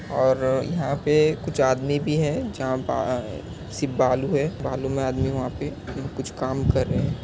और यहाँ पे कुछ आदमी भी है जहा बा- सिर्फ बालू है। बालू मे आदमी वहां पे कुछ काम कर रहे है।